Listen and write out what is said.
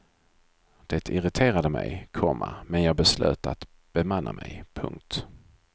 Det irriterade mig, komma men jag beslöt att bemanna mig. punkt